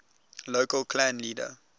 local clan leader